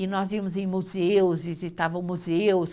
e nós íamos em museus, visitavam museus.